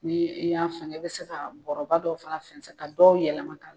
Ni i y'a fɛngɛ i bi se ka bɔrɔba dɔw fana fɛnsɛ, ka dɔw yɛlɛma k'a la